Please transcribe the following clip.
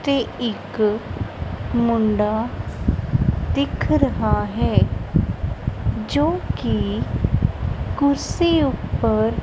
ਇੱਥੇ ਇੱਕ ਮੁੰਡਾ ਦਿਖ ਰਹਾ ਹੈ ਜੋ ਕੀ ਕੁਰਸੀ ਉੱਪਰ--